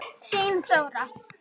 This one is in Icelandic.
Þín Þóra.